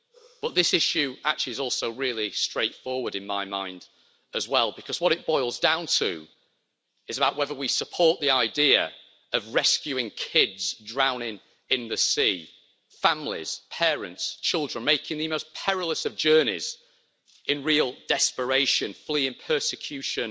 But this issue actually is also really straightforward in my mind as well, because what it boils down to is about whether we support the idea of rescuing kids drowning in the sea, families, parents, children, making the most perilous of journeys, in real desperation, fleeing persecution